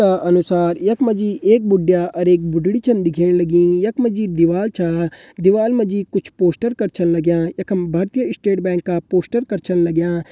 तस्वीर का अनुसार यख मा जी एक बुढया और एक बुड्ढी च दिखेण लगीं। यख मा जी दीवाल छा दीवाल मा जी कुछ पोस्टर कट छन लग्यां एकम भारतीय स्टेट बैंक का पोस्टर कट छन लग्यां।